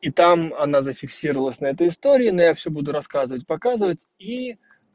и там она зафиксировалась на этой истории но я всё буду рассказывать показывать и